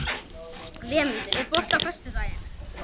Vémundur, er bolti á föstudaginn?